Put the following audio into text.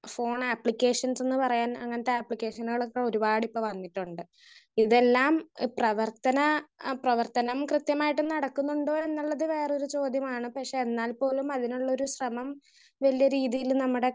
Speaker 1 phone applications എന്ന് പറയാൻ അങ്ങനത്തെ ആപ്ലിക്കേഷനേൾ ഒക്കെ ഇപ്പൊ വന്നിട്ടുണ്ട്. ഇതെല്ലാം പ്രവർത്തന ആ പ്രവർത്തനം കൃത്യമായിട്ട് നടക്കുന്നുണ്ടോ എന്നുള്ളത് വേറൊരു ചോദ്യമാണ്. പക്ഷെ എന്നാൽ പോലും അതിനുള്ളൊരു ശ്രമം വലിയ രീതിയിൽ നമ്മുടെ